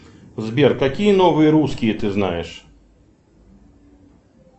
сбер какие новые русские ты знаешь